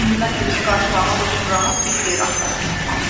İndi mən ölümü qarşılamaq üçün rahat bir yer axtarıb tapmalıyam.